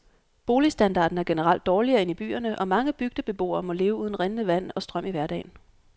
Boligstandarden er generelt dårligere end i byerne, og mange bygdebeboere må leve uden rindende vand og strøm i hverdagen.